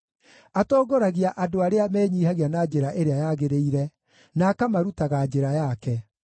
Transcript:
Atongoragia andũ arĩa menyiihagia na njĩra ĩrĩa yagĩrĩire, na akamarutaga njĩra yake.